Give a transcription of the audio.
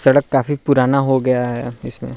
सड़क काफी पुराना हो गया है।